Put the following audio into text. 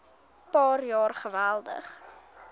paar jaar geweldig